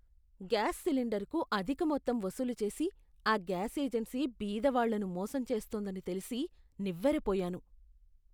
Gas సిలిండర్కు అధిక మొత్తం వసూలు చేసి ఆ గ్యాస్ ఏజెన్సీ బీద వాళ్ళను మోసం చేస్తోందని తెలిసి నివ్వెరపోయాను.